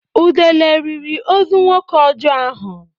Udele riri ozu nwoke ọjọọ ahụ.